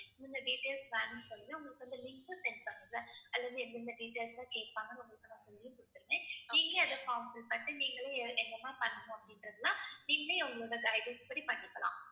என்னென்ன details வேணும்ன்னு சொன்னீங்கன்னா உங்களுக்கு அந்த linksend பண்ணுவேன். அதுல இருந்து எந்தெந்த details அ கேட்பாங்கன்னு உங்களுக்கு நான் சொல்லியும் கொடுத்திருவேன். நீங்களே அந்த form fill பண்ணிட்டு நீங்களே அஹ் என்னெல்லாம் பண்ணணும் அப்படின்றதெல்லாம் நீங்களே அவங்களோட guidelines படி பண்ணிக்கலாம்.